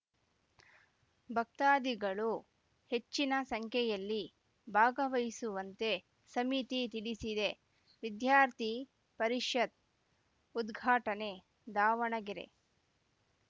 ಭಕ್ತಾದಿಗಳು ಹೆಚ್ಚಿನ ಸಂಖ್ಯೆಯಲ್ಲಿ ಭಾಗವಹಿಸುವಂತೆ ಸಮಿತಿ ತಿಳಿಸಿದೆ ವಿದ್ಯಾರ್ಥಿ ಪರಿಷತ್‌ ಉದ್ಘಾಟನೆ ದಾವಣಗೆರೆ